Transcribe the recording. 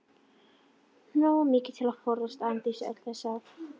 Nógu mikið til að forðast Arndísi öll þessi ár.